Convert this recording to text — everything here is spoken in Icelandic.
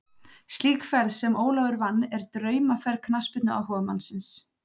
Slík ferð sem Ólafur vann er draumaferð knattspyrnuáhugamannsins.